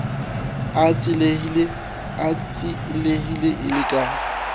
a tsielehile e le ka